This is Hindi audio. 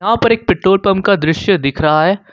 पर एक पेट्रोल पंप का दृश्य दिख रहा है।